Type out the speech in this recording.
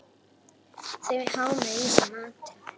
Þau hámuðu í sig matinn.